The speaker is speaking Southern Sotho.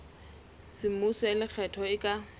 semmuso ya lekgetho e ka